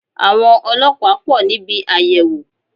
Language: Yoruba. Àwọn ọlọ́pàá pò níbi àyẹ̀wò